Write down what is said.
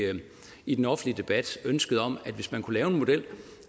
i den offentlige debat ønsket om at hvis man kunne lave en model